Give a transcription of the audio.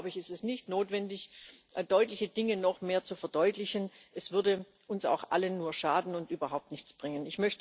Von daher ist es nicht notwendig, deutliche Dinge noch mehr zu verdeutlichen. Es würde uns auch allen nur schaden und überhaupt nichts bringen.